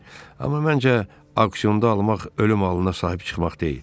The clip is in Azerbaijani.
Amma məncə, aksionda almaq ölüm allına sahib çıxmaq deyil.